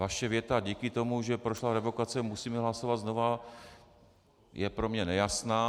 Vaše věta "díky tomu, že prošla revokace, musíme hlasovat znova" je pro mě nejasná.